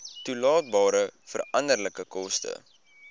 toedeelbare veranderlike koste